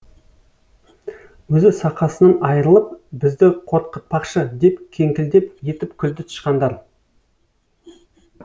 өзі сақасын айырылып бізді қорқытпақшы деп кеңкілдеп етіп күлді тышқандар